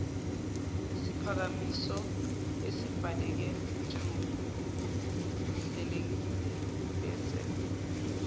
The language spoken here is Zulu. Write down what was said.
siphakamiso esibhaleke ngokuhlelekilebese